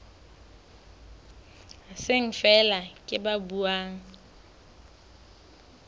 seng feela ke ba buang